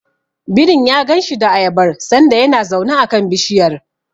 Birin ya ganshi da ayabar sanda yana zaune a kan bishiyar.